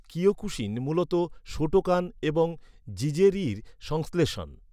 Kyokushin মূলত Shotokan এবং জিজেরির সংশ্লেষণ।